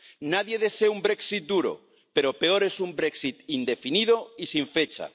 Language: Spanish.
Nadie desea un Brexit duro, pero peor es un Brexit indefinido y sin fecha.